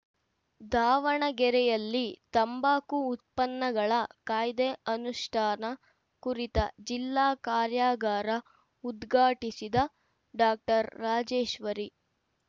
ದಾವಣಗೆರೆಯಲ್ಲಿ ತಂಬಾಕು ಉತ್ಪನ್ನಗಳ ಕಾಯ್ದೆ ಅನುಷ್ಠಾನ ಕುರಿತ ಜಿಲ್ಲಾ ಕಾರ್ಯಾಗಾರ ಉದ್ಘಾಟಿಸಿದ ಡಾಕ್ಟರ್ ರಾಜೇಶ್ವರಿ